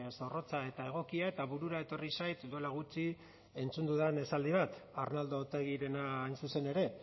zorrotza eta egokia eta burura etorri zait duela gutxi entzun dudan esaldi bat arnaldo otegirena hain zuzen ere